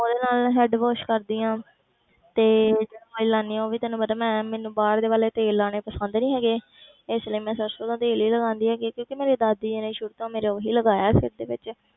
ਉਹਦੇ ਨਾਲ head wash ਕਰਦੀ ਹਾਂ ਤੇ ਜਿਹੜਾ oil ਲਾਉਂਦੀ ਹਾਂ ਉਹ ਵੀ ਤੈਨੂੰ ਪਤਾ ਮੈਂ ਮੈਨੂੰ ਬਾਹਰ ਦੇ ਵਾਲੇ ਤੇਲ ਲਾਉਣੇ ਪਸੰਦ ਨੀ ਹੈਗੇ ਇਸ ਲਈ ਮੈਂ ਸਰਸੋਂ ਦਾ ਤੇਲ ਹੀ ਲਗਾਉਂਦੀ ਹੈਗੀ ਹਾਂ ਕਿਉਂਕਿ ਮੇਰੇ ਦਾਦੀ ਜੀ ਨੇ ਸ਼ੁਰੂ ਤੋਂ ਮੇਰੇ ਉਹੀ ਲਗਾਇਆ ਸਿਰ ਦੇ ਵਿੱਚ